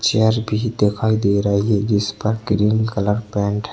Chair भी दिखाई दे रही जिसपर क्रीम कलर पैंट हैं।